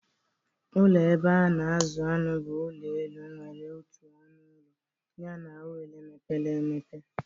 Ụlọ ebe a na-azụ anụ bụ ụlọ elu nwere otu ọnụ ụlọ Yana oghere mepere emepe.